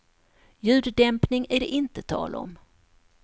Ljuddämpning är det inte tal om.